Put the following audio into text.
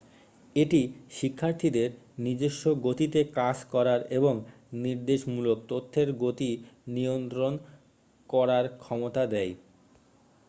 এটি শিক্ষার্থীদের নিজস্ব গতিতে কাজ করার এবং নির্দেশমূলক তথ্যের গতি নিয়ন্ত্রণ করার ক্ষমতা দেয়